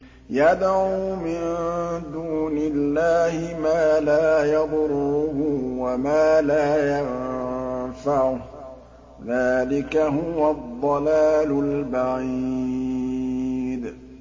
يَدْعُو مِن دُونِ اللَّهِ مَا لَا يَضُرُّهُ وَمَا لَا يَنفَعُهُ ۚ ذَٰلِكَ هُوَ الضَّلَالُ الْبَعِيدُ